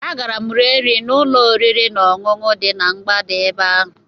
Agara m rie nri n'ụlọ oriri na ọṅụṅụ dị na mgbada ebe ahụ